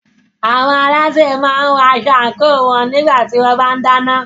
Àwọn alásè máa ń wọ aṣọ àńkò wọn nígbà tí wọ́n bá ń dáná.